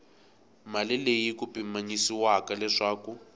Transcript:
mali leyi ku pimanyisiwaka leswaku